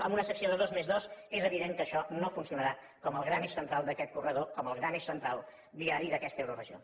amb una secció de dos més dos és evident que això no funcionarà com el gran eix central d’aquest corredor com el gran eix central viari d’aquesta euroregió